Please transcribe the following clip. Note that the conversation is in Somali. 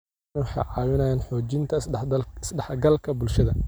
Adeegyadani waxay caawiyaan xoojinta is-dhexgalka bulshada.